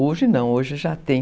Hoje não, hoje já tem.